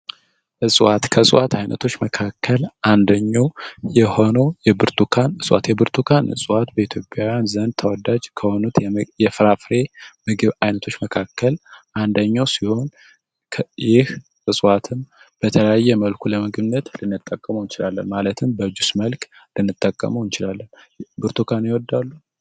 ከእጽዋት አይነቶች መካከል አንደኛው የብርቱካን እጽዋት የብርቱካን እጽዋት በኢትዮጵያ ውስጥ በጣም ተወዳጅ ከሆኑት የፍራፍሬ አይነቶች ውስጥ መካከል አንደኛው ሲሆን ይህ እጽዋት በተለያየ መልኩ ልንመገበው እንችላለን ለምሳሌ በጁስ መልክ ልንጠቀመው እንችላለን ብርቱካን ይወዳሉ?